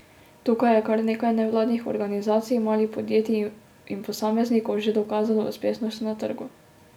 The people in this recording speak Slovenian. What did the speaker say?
Tukaj je kar nekaj nevladnih organizacij, malih podjetij in posameznikov že dokazalo uspešnost na trgu.